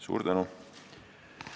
Suur tänu!